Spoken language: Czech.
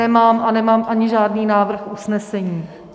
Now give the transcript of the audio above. Nemám a nemám ani žádný návrh usnesení.